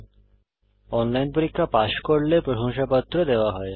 যারা অনলাইন পরীক্ষা পাস করে তাদের প্রশংসাপত্র দেওয়া হয়